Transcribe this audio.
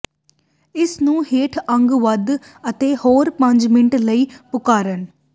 ਇਸ ਨੂੰ ਹੇਠ ਅੱਗ ਵੱਧ ਅਤੇ ਹੋਰ ਪੰਜ ਮਿੰਟ ਲਈ ਪਕਾਉਣ